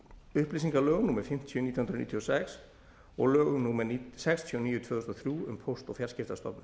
upplýsingalögum númer fimmtíu nítján hundruð níutíu og sex og lögum númer sextíu og níu tvö þúsund og þrjú um póst og fjarskiptastofnun